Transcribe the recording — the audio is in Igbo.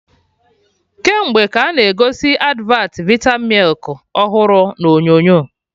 Kemgbe ka a na-egosi advat vita milk ọhụrụ na onyonyo